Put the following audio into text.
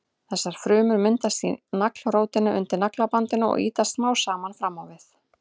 Þessar frumur myndast í naglrótinni undir naglabandinu og ýtast smám saman fram á við.